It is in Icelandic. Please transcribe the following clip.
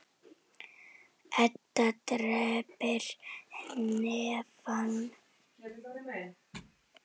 Edda kreppir hnefana af reiði.